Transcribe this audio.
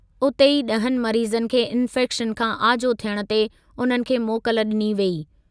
उते ई ॾहनि मरीज़नि खे इंफैक्शन खां आजो थियण ते उन्हनि खे मोकल ॾिनी वेई।